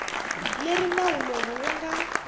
leri nawu lowu wu nga